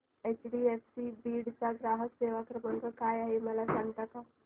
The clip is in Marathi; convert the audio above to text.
एचडीएफसी बीड चा ग्राहक सेवा क्रमांक काय आहे मला सांगता का